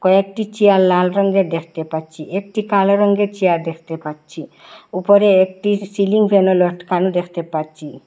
কয়েকটি চেয়ার লাল রঙ্গের দেখতে পাচ্চি একটি কালো রঙ্গের চেয়ার দেখতে পাচ্চি উপরে একটি সিলিং ফ্যানও লটকানো দেখতে পাচ্চি।